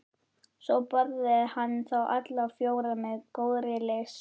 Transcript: Svo borðaði hann þá alla fjóra með góðri lyst.